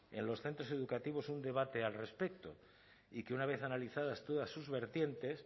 en los centros educativos un debate al respecto y que una vez analizadas todas sus vertientes